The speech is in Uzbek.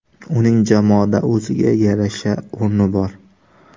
Uning jamoada o‘ziga yarasha o‘rni bor.